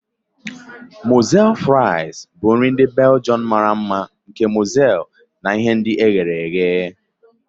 Moules fries bụ nri ndị Belgium mara mma nke mọsel na ihe ndi ehere ehe.